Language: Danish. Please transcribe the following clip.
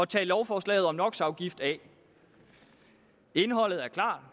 tag lovforslaget om knox afgift af indholdet er klart